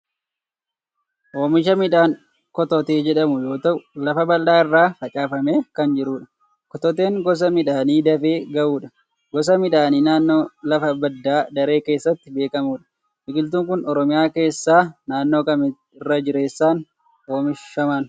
Oomisha midhaan kototee jedhamuu yoo ta'u, lafa bal'aa irra facaafamee kan jirudha. Kototeen gosa midhaanii dafee gahudha. Gosa midhaanii naannoo lafa badda daree keessatti beekamudha. Biqiltuun kun Oromiyaa keessaa naannoo kamitti irra jireessaan oomishaman?